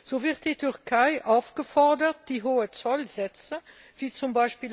So wird die Türkei aufgefordert, die hohen Zollsätze wie z.